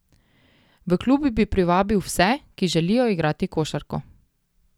V klub bi privabil vse, ki želijo igrati košarko.